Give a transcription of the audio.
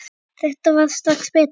Þetta varð strax betra.